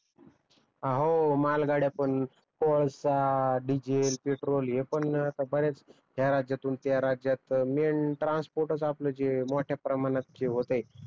हो मालगाड्या पण कोळसा, डीझेल, पेट्रोल हे पण बऱ्याच ह्या राज्यातून त्या राज्यात ट्रान्स्पोर्ट च आपल जे मोठ्या प्रमाणात जे होत आहे